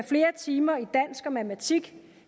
flere timer i dansk og matematik